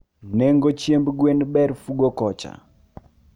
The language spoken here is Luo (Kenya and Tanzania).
Nengo hiemb gwen ber Fugo kocha